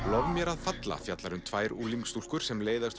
lof mér að falla fjallar um tvær unglingsstúlkur sem leiðast